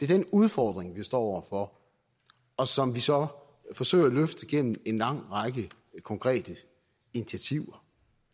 den udfordring vi står over for og som vi så forsøger at løfte gennem en lang række konkrete initiativer